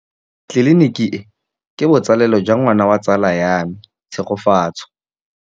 Tleliniki e, ke botsalêlô jwa ngwana wa tsala ya me Tshegofatso.